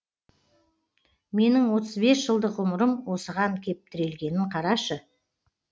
менің отыз бес жылдық ғұмырым осыған кеп тірелгенін қарашы